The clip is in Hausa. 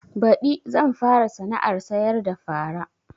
Baɗi zan fara sana'ar sayar da fara